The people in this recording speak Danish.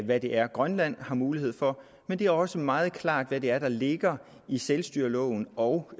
hvad det er grønland har mulighed for men det er også meget klart hvad det er der ligger i selvstyreloven og